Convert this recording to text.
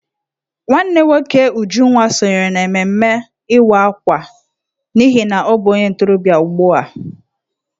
Nwanne nwoke Ujunwa sonyere n'ememme Ịwa Akwa n'ihi na ọ bụ onye ntorobịa ugbu a.